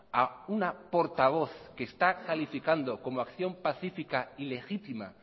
a una portavoz que está calificando como acción pacífica y legítima